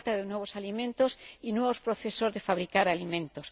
Se trata de nuevos alimentos y nuevos procesos de fabricar alimentos.